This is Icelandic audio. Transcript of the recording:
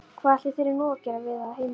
Hvað ætli þurfi nú að gera við á heimilinu?